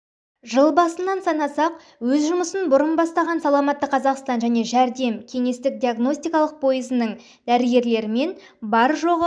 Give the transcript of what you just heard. жыл басынан санасақ өз жұмысын бұрын бастаған саламатты қазақстан және жәрдем кеңестік-диагностикалық пойызының дәрігерлерімен бар жоғы